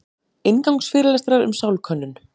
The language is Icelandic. Inngangsfyrirlestrar um sálkönnun.